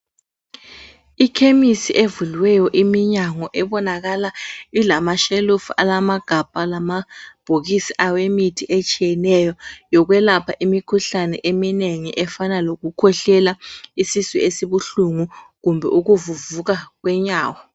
Ikhemisi evuliweyo iminyango ebonakala ilama shelufu alamagabha alamabhokisi awemithi etshiyeneyo yokwelapha imikhuhlane eminengi efana lokukhwehlela, isisu esibuhlungu kumbe ukuvuvuka kwenyawo.